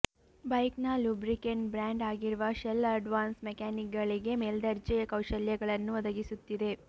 ಬೈಕ್ನ lubricant brand ಆಗಿರುವ Shell Advance ಮೆಕ್ಯಾನಿಕ್ಗಳಿಗೆ ಮೇಲ್ದರ್ಜೆಯ ಕೌಶಲ್ಯಗಳನ್ನು ಒದಗಿಸುತ್ತಿದೆ